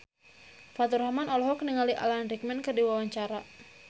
Faturrahman olohok ningali Alan Rickman keur diwawancara